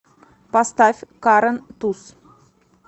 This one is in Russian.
поставь карен туз